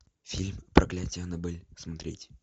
фильм проклятие аннабель смотреть